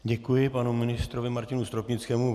Děkuji panu ministrovi Martinu Stropnickému.